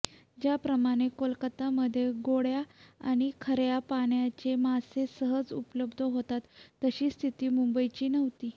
ज्याप्रमाणे कोलकातामध्ये गोड्या आणि खार्या पाण्याचे मासे सहज उपलब्ध होतात तशी स्थिती मुंबईची नव्हती